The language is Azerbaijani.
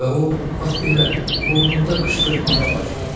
və o bax belə burnunda qışqırmağa başladı.